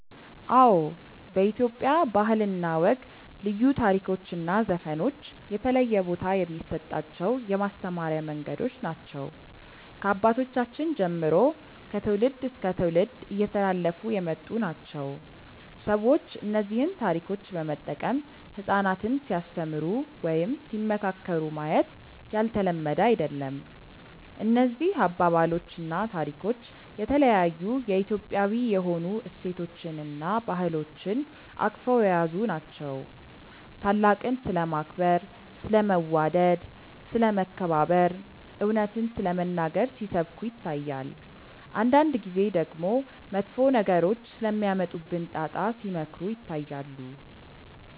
አዎ በኢትዮጵያ ባህል እና ወግ ልዩ ታሪኮች እና ዘፈኖች የተለየ ቦታ የሚሰጣቸው የማስተማሪያ መንገዶች ናቸው። ከአባቶቻችን ጀምሮ ከትውልድ እስከ ትውልድ እየተላለፉ የመጡ ናቸው። ሰዎች እነዚህን ታሪኮች በመጠቀም ህጻናትን ሲያስተምሩ ወይም ሲመካከሩ ማየት ያልተለመደ አይደለም። እነዚህ አባባሎች እና ታሪኮች የተለያዩ የኢትዮጵያዊ የሆኑ እሴቶችን እና ባህሎችን አቅፈው የያዙ ናቸው። ታላቅን ስለማክበር፣ ስለ መዋደድ፣ ስለ መከባበር፣ እውነትን ስለመናገር ሲሰብኩ ይታያል። አንዳንድ ጊዜ ደግሞ መጥፎ ነገሮች ስለሚያመጡብን ጣጣ ሲመክሩ ይታያሉ።